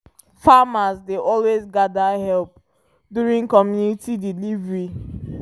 farmers dey always gather help during comunity delivery